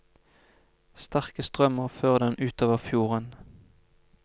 Sterke strømmer fører dem utover fjorden.